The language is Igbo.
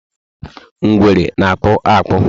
Ngwere na- akpu akpu